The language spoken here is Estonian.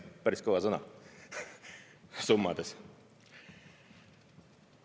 Päris kõva sõna summades!